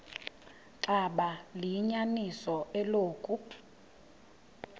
xaba liyinyaniso eloku